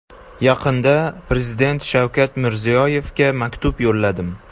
Yaqinda Prezident Shavkat Mirziyoyevga maktub yo‘lladim.